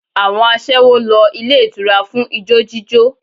Àwọn aṣẹ́wó ń lọ ilé ìtura fún ijó jíjó